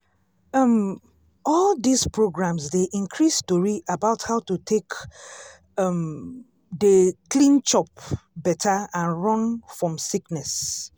um all dis programs dey increase tori about how to take um dey clean chop better and run fom sickness.